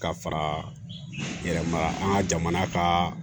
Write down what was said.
Ka fara n yɛrɛ ma an ka jamana ka